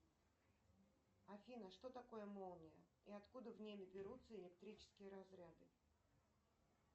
афина что такое молния и откуда в ней берутся электрические разряды